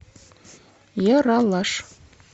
ералаш